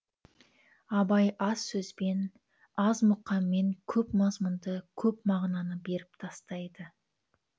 абай аз сөзбен аз мұкаммен көп мазмұнды көп мағынаны беріп тастайды